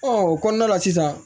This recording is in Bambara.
o kɔnɔna la sisan